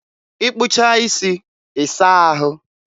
ịkpụchaa isi, ị saa ahụ.